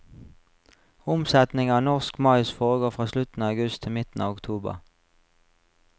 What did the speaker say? Omsetning av norsk mais foregår fra slutten av august til midten av oktober.